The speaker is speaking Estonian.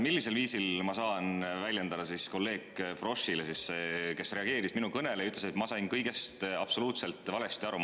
Millisel viisil saan ma kolleeg Froschile, kes reageeris minu kõnele ja ütles, et ma sain kõigest absoluutselt valesti aru?